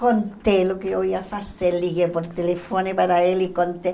Contei o que eu ia fazer, liguei por telefone para ele e contei.